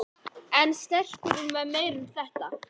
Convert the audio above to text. En stekkurinn var meira en þetta.